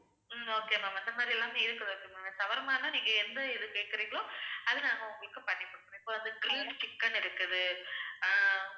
ஹம் okay ma'am அந்த மாதிரி எல்லாமே இருக்குது okay ma'am shawarma னா நீங்க எந்த இது கேக்குறீர்களோ அது நாங்க உங்களுக்கு பண்ணி குடுத்துருவோம். இப்ப வந்து grilled chicken இருக்குது ஆஹ்